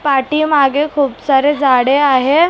पाठीमागे खूप सारे झाडे आहे ए--